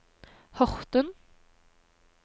Horten